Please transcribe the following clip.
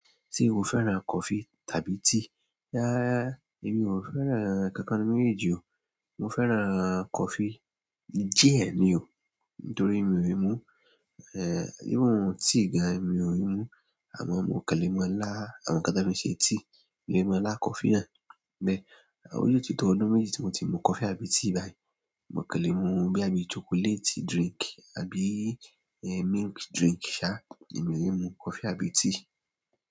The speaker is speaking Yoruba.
Ṣé o fẹ́ràn coffee tàbí tea? Rárá, èmi ò fẹ́ràn kankan nínú méjì o. Mo fẹ́ràn coffee diẹ ni o, nítorí mi ò lè mu, eh, even tea gan. Mi ò i mu, àmọ́ mo lè mọ lá, àwọn nkan tàn fi ṣe tea. Mo lè mọ lá coffee náà. Ìgbẹ́, ó yo tí to ọdún méjì tí mo ti mu coffee àbí tea báyìí. Mo kàn lè mu bí i chocolate drink àbí, eh, milk drink ṣá. Èmi ò lè mu coffee àbí tea.